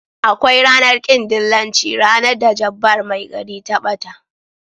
Akwai ranar kin dillanci ranar da jabbar mai gari ta bata.